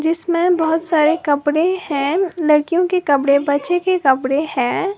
इसमें बहोत सारे कपड़े हैं लड़कियों के कपड़े बच्चों के कपड़े हैं।